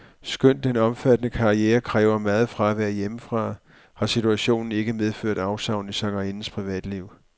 Skønt den omfattende karriere kræver meget fravær hjemmefra, har situationen ikke medført afsavn i sangerindens privatliv.